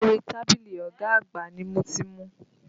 Orí tábìlì ọ̀gá àgbà ni mo ti mu.